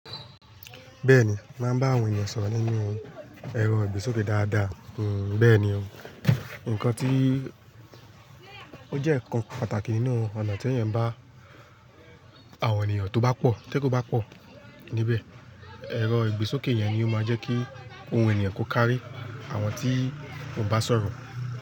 Bẹ́ẹ̀ni, mo máa ńbá àwọn ènìyàn sọ̀rọ̀ nínú ẹ̀rọ ìgbésókè dáadáa. Hmm, bẹ́ẹ̀ni o, nǹkan tí ó jẹ́ nǹkan pàtàkì nínú ọ̀nà tí ẹniyàn bá àwọn ènìyàn tó bá pọ̀ tí èrò bá pọ̀ níbẹ̀. Ẹ̀rọ ìgbésókè yẹn ni ó máa jẹ́ kí ohun ènìyàn kó kárí àwọn tí òun bá sọ̀rọ̀